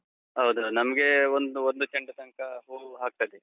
ಹೌದು. ನಮ್ಗೆ ಒಂದು, ಒಂದು ಚೆಂಡು ತನ್ಕ ಹೂವ್ ಆಗ್ತದೆ.